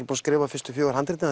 búin að skrifa fyrstu fjögur handritin